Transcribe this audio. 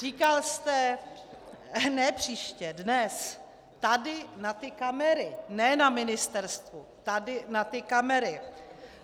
Říkal jste - ne příště, dnes, tady na ty kamery, ne na ministerstvu, tady na ty kamery.